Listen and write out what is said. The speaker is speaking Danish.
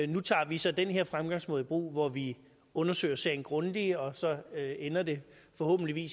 nu tager vi så den her fremgangsmåde i brug vi undersøger sagen grundigt og så ender det forhåbentlig